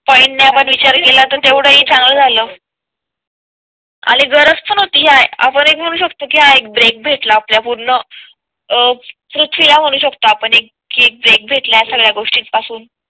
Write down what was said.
Point ने विचार केला तर तेवढीच हि चांगला झालं आणि गरज पण ती आपण म्हणू शकतो की एक ब्रेक भेटला ला आपल्या पूर्ण पृथ्वी ला म्हणू शकतो आपण कि एक ब्रेक भेटला या सगळ्या गोष्टीं पासून.